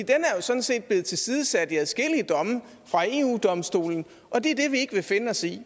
sådan set blevet tilsidesat i adskillige domme fra eu domstolen og det er det vi ikke vil finde os i